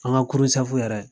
An ka kurun sɛfu yɛrɛ